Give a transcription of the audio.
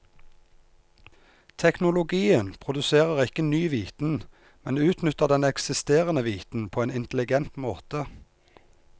Teknologien produserer ikke ny viten, men utnytter den eksisterende viten på en intelligent måte.